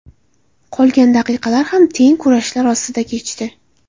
Qolgan daqiqalar ham teng kurashlar ostida kechdi.